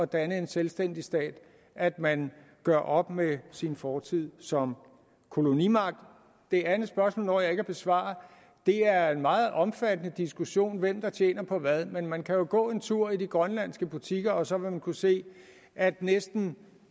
danne en selvstændig stat at man gør op med sin fortid som kolonimagt det andet spørgsmål når jeg ikke at besvare det er en meget omfattende diskussion om hvem der tjener på hvad men man kan jo gå en tur i de grønlandske butikker og så vil man kunne se at næsten